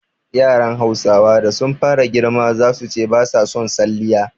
Yaran Hausawa da sun fara girma zasu ce ba sa son salliya